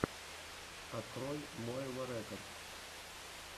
открой моэва рекодс